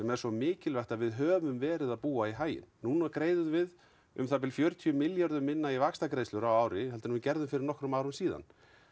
er svo mikilvægt að við höfum verið að búa í haginn núna greiðum við um það bil fjörutíu milljörðum minna í vaxtagreiðslur á þessu ári heldur en við gerðum fyrir nokkrum árum síðan